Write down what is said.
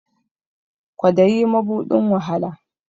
Kwadayi mabuɗin wahala